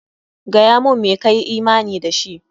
Gaya mun me ka yi imani da shi!